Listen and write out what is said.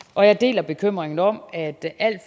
og jeg deler bekymringen om at alt